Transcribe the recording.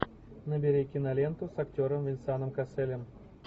набери киноленту с актером венсаном касселем